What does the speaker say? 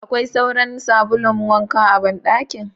Akwai sauran sabulun wanka a ban dakin.